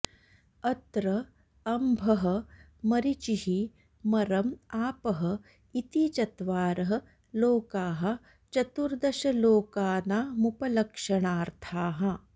अत्र अम्भः मरिचिः मरम् आपः इति चत्वारः लोकाः चतुर्दशलोकानामुपलक्षणार्थाः